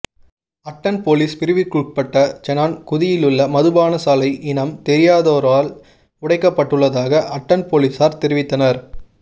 attend police பிரிவிற்குட்பட்ட செனன் குதியிலுள்ள மதுபானசாலை இனம் தெரியாதோரால் உடைக்கப்பட்டுள்ளதாக அட்டன் பொலிஸார் தெரிவித்தனர்